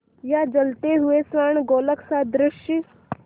या जलते हुए स्वर्णगोलक सदृश